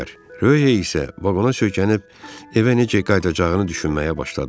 Röhey isə vaqona söykənib evə necə qayıdacağını düşünməyə başladı.